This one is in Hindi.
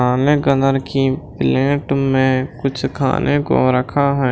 तांबे कलर की प्लेट में कुछ खाने को रखा है।